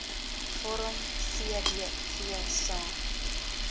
vorm cdv saam